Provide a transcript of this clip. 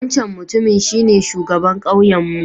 Wancan Mutumin shine shugaban kauyenmu